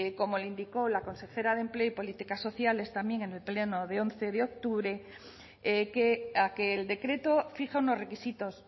como le indicó la consejera de empleo y políticas sociales también en el pleno de once de octubre a que el decreto fija unos requisitos